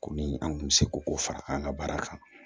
Komi an kun bɛ se ko o fara an ka baara kan